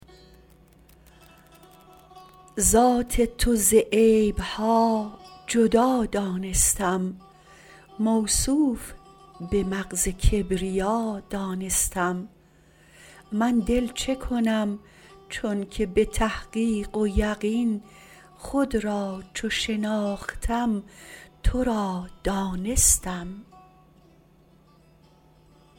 ذات تو ز عیبها جدا دانستم موصوف به مغز کبریا دانستم من دل چکنم چونکه به تحقیق و یقین خود را چو شناختم ترا دانستم